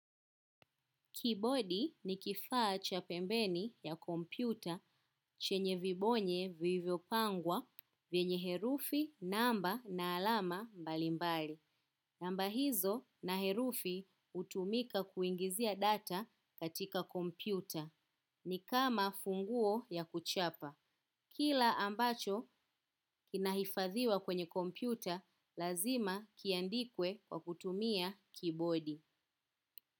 Keyboardi ni kifaa cha pembeni ya kompyuta chenye vibonye vilivyopangwa vyenye herufi, namba na alama mbalimbali. Namba hizo na herufi hutumika kuingizia data katika kompyuta ni kama funguo ya kuchapa. Kila ambacho kinahifadhiwa kwenye kompyuta lazima kiandikwe kwa kutumia keyboardi.